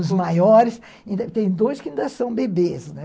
Os maiores... Tem dois que ainda são bebês, né?